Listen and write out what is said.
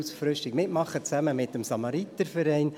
Durchgeführt wird er gemeinsam mit dem Samariterverein.